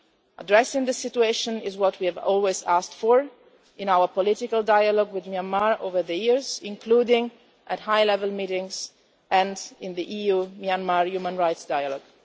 Addressing the situation is what we have always asked for in our political dialogue with Myanmar over the years, including at high level meetings and in the EU Myanmar Human Rights Dialogue.